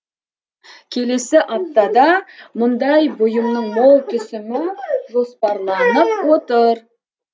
келесі аптада мұндай бұйымның мол түсімі жоспарланып отыр